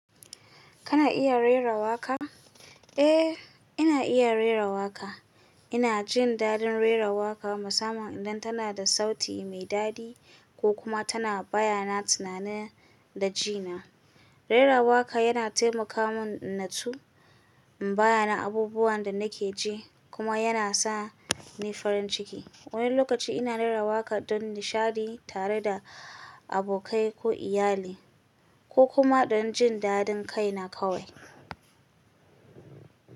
Kana iya rera waƙa? Eh, ina iya rera waƙa. Ina jin daɗin rera waƙa musamman idan tana da sauti mai daɗi ko kuma tana bayyana tunani da jina. Rera waƙa yana taimaka mun natsu, in bayyana abubuwan da nake ji kuma yana sa ni farin ciki. Wani lokaci ina rera waƙa don nishaɗi tare da abokai ko iyali, ko kuma don jin daɗin kaina kawai.